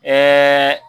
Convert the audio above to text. Ɛɛ